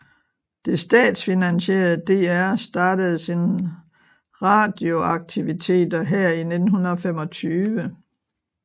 Det statsfinansierede DR startede sine radioaktiviteter her i 1925